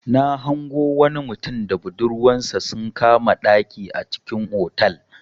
Na hango wani mutum da budurwansa sun kama ɗaki a cikin otal.